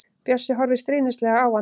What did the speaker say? Bjössi horfir stríðnislega á hann.